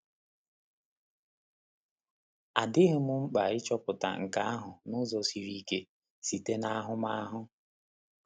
A dịghị m mkpa ịchọpụta nke ahụ n’ụzọ siri ike—site n’ahụmahụ.